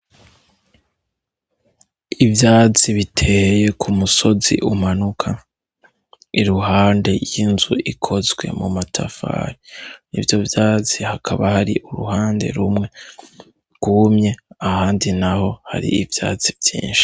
Ivyazi biteye ku musozi umanuka iruhande y'inzu ikozwe mu matafari ni vyo vyazi hakaba hari uruhande rumwe rwumye ahandi na ho hari ivyazi vyinshi.